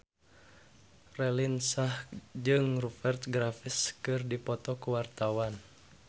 Raline Shah jeung Rupert Graves keur dipoto ku wartawan